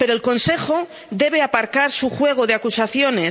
Pero el Consejo debe aparcar su juego de acusaciones.